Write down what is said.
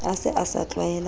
a se a sa tlwaela